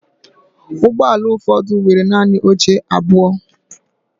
Ụgbọ ala ụfọdụ nwere naanị oche abụọ.